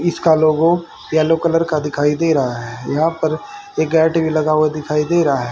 इसका logo yellow colour का दिखाई दे रहा है यहां पर एक गेट भी लगा हुआ दिखाई दे रहा है।